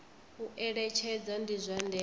u eletshedza ndi zwa ndeme